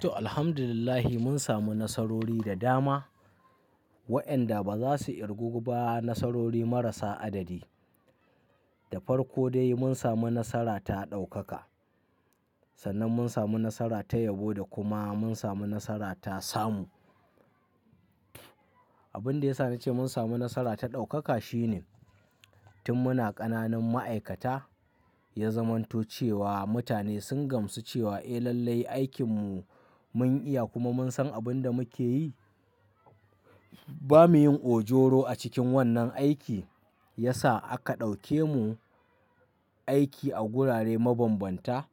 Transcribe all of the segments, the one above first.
To, Alhamdulillah mun samu nasarori da dama waɗanda ba za su ƙirgu ba. Nasarori marasa adadi. Da farko dai mun samu nasara ta ɗaukaka, sannan mun samu nasara ta yabo da kuma mun samu nasara ta samu. Abin da ya sa na ce mun samu nasara ta ɗaukaka shine, tun muna ƙananan ma'aikata ya zamanto cewa mutane sun gamsu cewa eh lallai aikin mu mun iya kuma mun san abin da muke yi. Ba mu yin ojoro a cikin wannan aiki. Ya sa aka ɗauke mu aiki a gurare mabanbanta.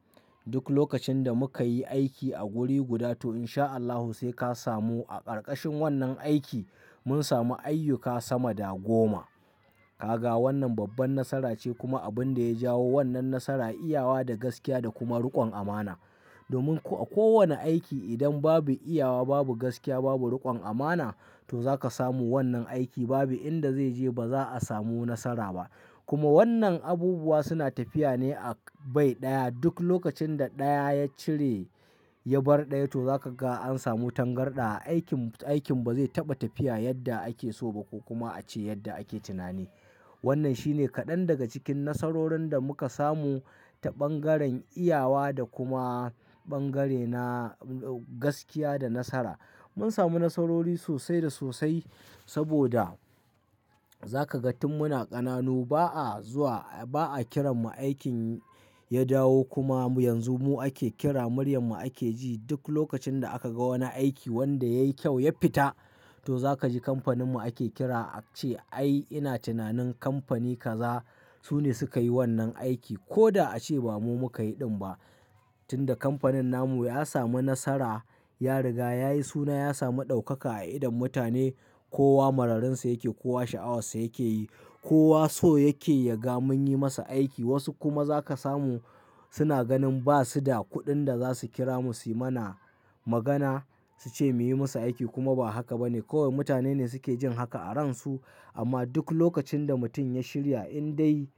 Duk lokacin da muka yi aiki a guri guda to in sha Allahu sai ka samu. A ƙarƙashin wannan aiki mun samu ayyuka sama da goma. Ka ga wannan babban nasara ce kuma abin da ya jawo wannan nasara, iyawa, da gaskiya, da kuma riƙon amana. Domin a ko wane aiki idan babu iyawa, babu gaskiya, babu riƙon amana, to zaka samu wannan aiki babu inda zai je ba za a samu nasara ba. Kuma wannan abubuwa suna tafiya ne a bai ɗaya. Duk lokacin da ɗaya ya cire ya bar daya to zaka ga an samu tangarɗa. Aikin, aikin ba zai taɓa tafiya yadda ake so ba ko kuma a ce yadda ake tunani. Wannan shine kaɗan daga cikin nasarorin da muka samu ta ɓangaren iyawa da kuma ɓangare na gaskiya da nasara. Mun samu nasarori sosai da sosai saboda za ka ga tun muna ƙananu ba'a zuwa, ba'a kira mu aikin ya dawo kuma yanzu mu ake kira. Muryar mu ake ji. Duk lokacin da aka ga wani aiki wanda yayi kyau ya fita, to za ka ji kamfanin mu ake kira a ce "ai ina tunanin kamfani kaza su ne suka yi wannan aiki. Ko da a ce ba mu muka yi ɗin ba. Tunda kamfanin namu ya samu nasara, ya riga ya yi suna, ya sami ɗaukaka a idon mutane. Kowa mararinsa yake, kowa sha'awarsa yake yi, kowa so yake ya ga munyi masa aiki. Wasu kuma za ka samu suna ganin ba su da kuɗin da za su kira mu su yi mana magana, su ce mu yi masa aiki kuma ba haka ba ne. Kawai mutane ne suke jin haka a ransu, amma duk lokacin da mutum ya shirya in dai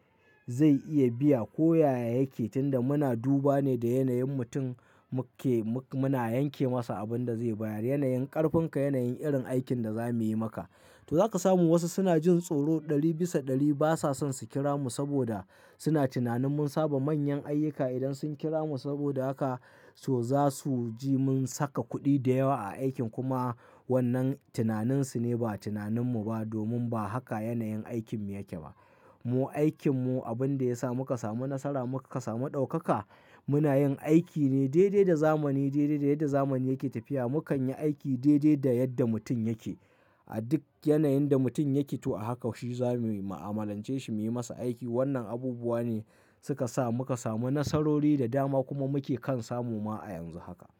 zai iya biya ko yaya yake tun da muna duba ne da yanayin mutum, muke, muna yanke masa abin da zai bayar. Yanayin ƙarfinka, yanayin irin aikin da za mu yi maka. To za ka samu wasu suna jin tsoro, ɗari bisa ɗari ba sa son su kira mu saboda suna tunanin mun saba manyan ayyuka idan sun kira mu. Saboda haka to za su ji mun saka kuɗi da yawa a aikin kuma wannan tunaninsu ne ba tunaninmu ba domin ba haka yanayin aikinmu yake ba. Mu aikinmu abin da ya sa muka samu nasara, muka samu ɗaukaka, muna yin aiki ne daidai da zamani, daidai da yadda zamani yake tafiya. Mukan yi aiki daidai da yadda mutum yake a duk yanayin da mutum yake. To a haka shi za mu mu'amalance shi, mu yi masa aiki. Wannan abubuwa ne suka sa muka samu nasarori da dama kuma muke kan samu ma a yanzu haka.